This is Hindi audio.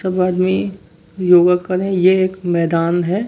तब आदमी योगा कर रहे हैं ये एक मैदान है।